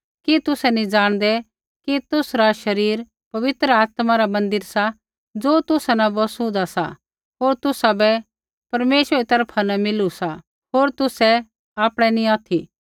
कि तुसै नी जाणदै कि तुसरा शरीर पवित्र आत्मा रा मन्दिर सा ज़ो तुसा न बसु होंदा सा होर तुसाबै परमेश्वरै री तरफा न मिलू सा होर तुसै आपणै नी ऑथि